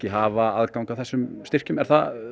hafa aðgang að þessum styrkjum er það